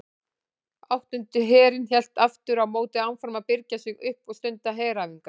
Áttundi herinn hélt aftur á móti áfram að birgja sig upp og stunda heræfingar.